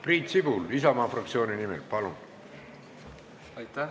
Priit Sibul Isamaa fraktsiooni nimel, palun!